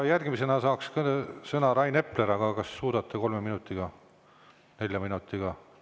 Järgmisena saaks sõna Rain Epler, aga kas suudate kolme-nelja minutiga?